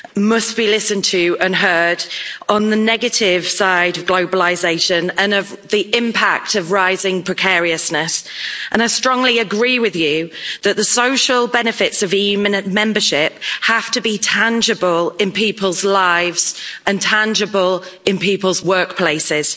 must be listened to and heard on the negative side of globalisation and the impact of rising precariousness, and I strongly agree with you that the social benefits of EU membership have to be tangible in people's lives and tangible in people's workplaces.